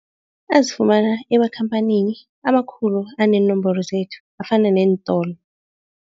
Azifumana emakhamphanini amakhulu aneenomboro zethu afana neentolo.